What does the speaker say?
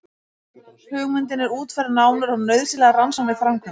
Hugmyndin er útfærð nánar og nauðsynlegar rannsóknir framkvæmdar.